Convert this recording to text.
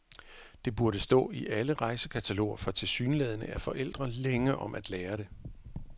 Det burde stå i alle rejsekataloger, for tilsyneladende er forældre længe om at lære det.